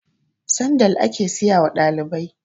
sandal ake siyawa dalibai